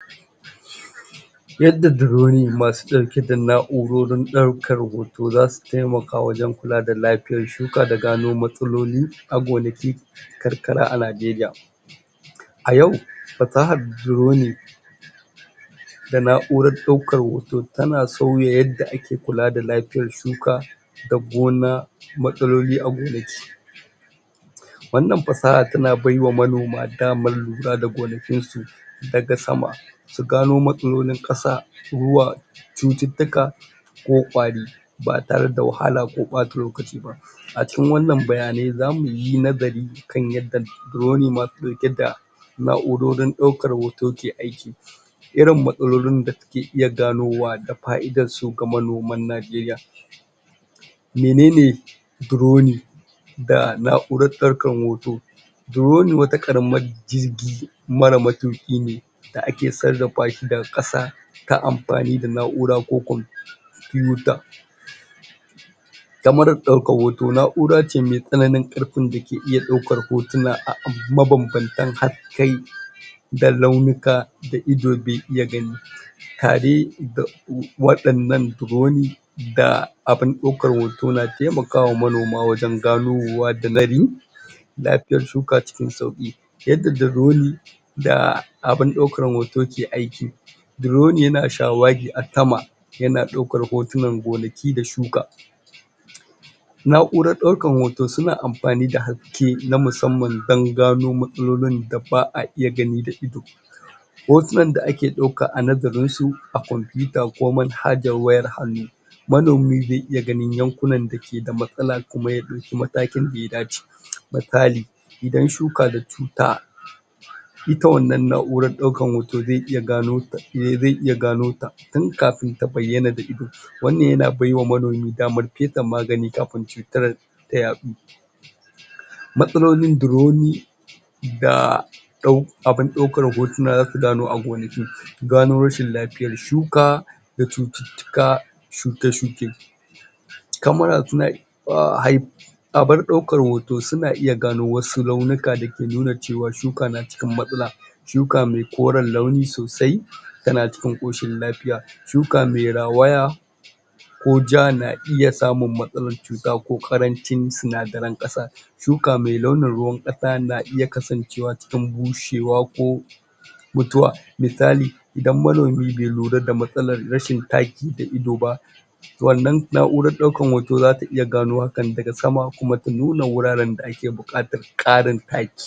Yadda drone masu ɗauke da na'urorin ɗaukar hoto za su taimaka wajen kula da lafiyar shuka da gano matsaloli a gonaki, karkara a Nigeria. A yau fasahar drone da na'urar ɗaukar hoto ta na sauya yadda ake kula da lafiyar shuka, da gona, matsaloli a gonaki, Wannan fasaha ta na bai wa manoma damar lura da gonakinsu daga sama su gano matsalolin ƙasa, ruwa, cututtuka ko ƙwari ba ta re da wahala ko ɓata lokaci ba. A cikin waɗannan bayanai za mu yi nazari kan yadda drone ke riƙe da na'urorin ɗaukar hoto ke aiki, irin matsalolin da ta ke iya ganowa, fa'idarsu ga manoman Nigeria. Minene drone da na'urar daukar hoto? Drone wata ƙaramar jirgi mara matuƙi ne da ake sarrafa shi daga ƙasa ta amfani da na'ura ko computer, puter, kyamarar ɗaukar hoto na'ura ce mai tsananin ƙarfin da ke iya ɗaukar hotuna a abu mabanbantan ƙarfin da ke iya ɗaukar hotuna a abu mabanbantan hakkai da launuka da ido bai iya gani, ta re da waɗannan drone da abun ɗaukar hoto na taimawa manoma wajen ganowa da lafiyar shuka cikin sauƙi. Yadda drone da abun ɗaukar hoto ke aiki. Drone ya na shawagi a sama ya na ɗaukar hotunan gonaki da shuka, na'urar ɗaukar hoto su na amfani da has ke na musamman don gano matsalolin da ba'a iya gani da ido, hotunan da ake ɗauka a nazarinsu a computer ko manhajar wayar hannu, manomi zai iya ganin yankunan da ke da matsala kuma ya ɗauki matakin da ya dace misali: Idan shuka na da cuta ita wannan na'urar ɗaukar hoto zai iya gano ta, eh zai iya gano ta tun kafin ta bayyana da ido wannan ya na baiwa manomi damar yi ma ta magani kafin cutar ta yaɗu. Matsalolin drone da ɗau abun ɗaukar hotuna za su gano agonaki, gano rashin lafiyar shuka da cututtuka, shuke-shuke. Camera ta na iya? abar ɗaukar hoto su na iya gano wasu launuka da ke nuna ce wa shuka na cikin matsala, shuka mai koren launi sosai ta na cikin ƙoshin lafiya, shuka mai rawaya ko ja na iya samun matsalar tsutsa ko ƙarancin sinadaran ƙasa, shuka mai launin ruwan ƙasa na iya kasancewa don bushewa ko mutuwa, misali: Idan manomi bai lura da matsalar rashin taki a ido ba, wannan na'urar ɗaukar hoto za ta iya gano hakan daga sama kuma ta nuna wuraren da ake buƙatar ƙarin taki.